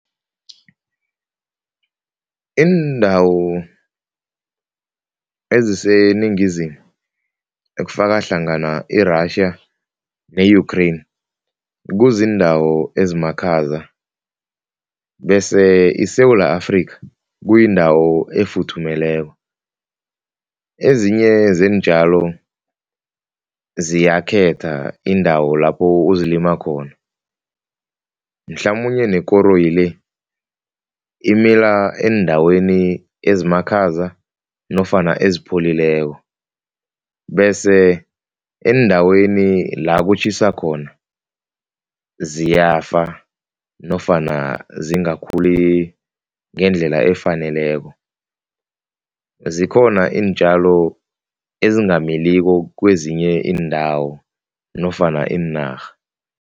Iindawo eziseningizimu ekufaka hlangana i-Russia ne-Ukraine, kuziindawo ezimakhaza bese iSewula Afrika kuyindawo efuthumeleko. Ezinye zeentjalo ziyakhetha iindawo lapho uzilima khona, mhlamunye nekoroyi le imila eendaweni ezimakhaza nofana ezipholileko bese eendaweni la kutjhisa khona ziyafa nofana zingakhuli ngendlela efaneleko. Zikhona iintjalo ezingamiliki kwezinye iindawo nofana iinarha.